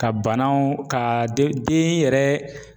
Ka banaw ka den yɛrɛ